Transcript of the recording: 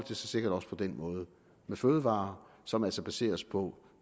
sig sikkert også på den måde med fødevarer som altså baseres på